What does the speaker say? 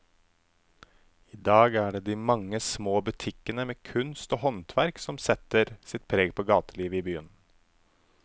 I dag er det de mange små butikkene med kunst og håndverk som setter sitt preg på gatelivet i byen.